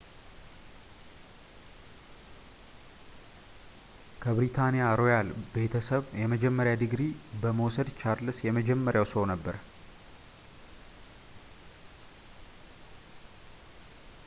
ከብሪታንያ ሮያል ቤተሰብ የመጀመሪያ ዲግሪ በመውሰድ ቻርለስ የመጀመሪያው ሰው ነበር